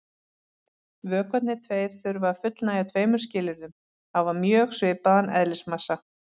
Vökvarnir tveir þurfa að fullnægja tveimur skilyrðum: Hafa mjög svipaðan eðlismassa.